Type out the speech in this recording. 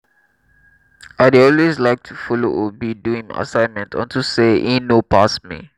i dey always like to follow obi do im assignment unto say e know pass me